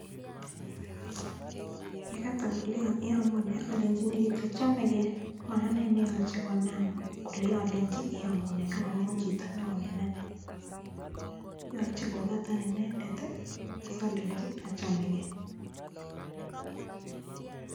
Yeikatan kolenjaaaa yamune koyache ayanchi alenjii achamegeee